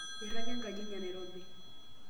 airraga enkaji enye ee nairobi